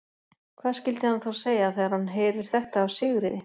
Hvað skyldi hann þá segja, þegar hann heyrir þetta af Sigríði?